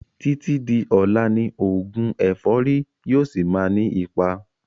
Títí di ọlá ni oògùn ẹ̀fọ́rì yìí ó síí má ni ipa